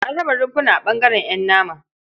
An raba rumfuna a ɓangaren ƴan nama.